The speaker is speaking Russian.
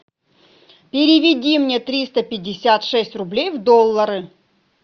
переведи мне триста пятьдесят шесть рублей в доллары